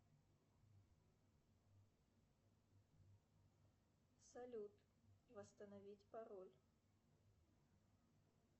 салют восстановить пароль